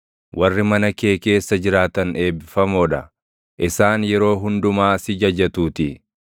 Warri mana kee keessa jiraatan eebbifamoo dha; isaan yeroo hundumaa si jajatuutii.